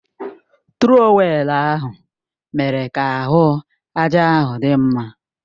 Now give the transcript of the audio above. Trọwèlu ahụ mere ka ahụ àjà ahụ dị mma